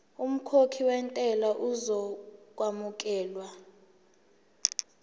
umkhokhi wentela uzokwamukelwa